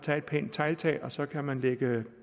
have et pænt tegltag og så kan man lægge